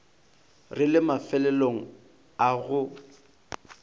re le mafelong a go